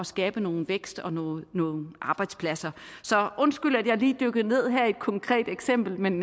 skabe noget vækst og nogle arbejdspladser så undskyld at jeg lige dykkede ned her i et konkret eksempel men